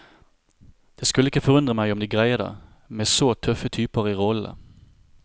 Det skulle ikke forundre meg om de greier det, med så tøffe typer i rollene.